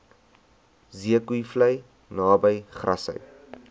zeekoevlei naby grassy